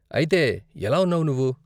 అయితే, ఎలా ఉన్నావు నువ్వు?